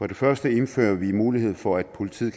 det første indfører vi mulighed for at politiet